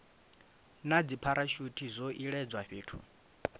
na dzipharashuthi zwo iledzwa fhethu